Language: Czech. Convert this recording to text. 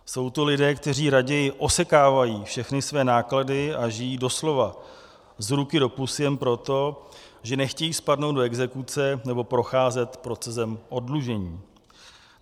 Jsou to lidé, kteří raději osekávají všechny své náklady a žijí doslova z ruky do pusy jen proto, že nechtějí spadnout do exekuce nebo procházet procesem oddlužení.